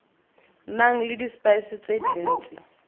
nang le dispice tse dintsi